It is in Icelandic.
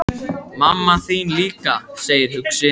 Mamma þín líka, segir hann hugsi.